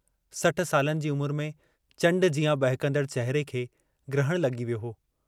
60 सालनि जी उमुरु में चण्ड जियां बहकंदड़ चहिरे खे ग्रहणु लगी वियो हो।